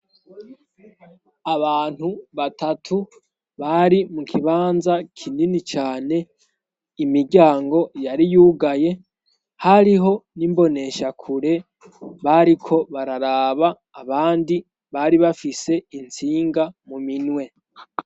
Abantu batatu bari mu kibanza kinini cane imiryango yari yugaye hariho n'imboneshakure bariko bararaba abandi bari bafise itsinga mu minwe.